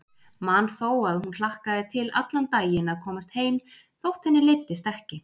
Man þó að hún hlakkaði til allan daginn að komast heim þótt henni leiddist ekki.